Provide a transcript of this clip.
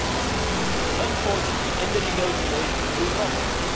7. Unfortunately, in the negotiations, we lost this.